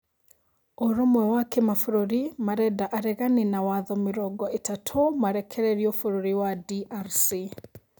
Ũrũmwe wa kĩmabũrũri marenda aregani na watho mĩrongo ĩtatũ marekererio bũrũri wa DRC